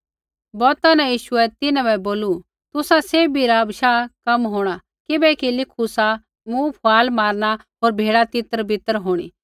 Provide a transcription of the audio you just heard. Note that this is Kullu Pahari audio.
बौता न यीशुऐ तिन्हां बै बोलू तुसा सैभी रा बशाह कम होंणा किबैकि लिखू सा मूँ फुआल मारना होर भेड़ा तितरबितर होंणी